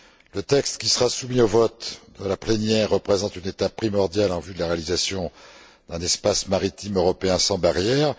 Le texte qui sera soumis au vote de la plénière représente une étape primordiale en vue de la réalisation d'un espace maritime européen sans barrières.